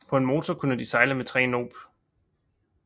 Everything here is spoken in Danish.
På en motor kunne de sejle med 3 knob